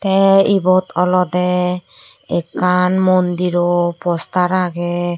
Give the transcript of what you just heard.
te ebot olode ekkan mondiro poster agey.